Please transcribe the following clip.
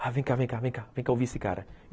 Ah, vem cá, vem cá, vem cá, vem cá ouvir esse cara.